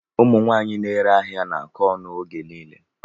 Ụmụ nwaanyị na-ere ahịa na-akọ ọnụ oge niile.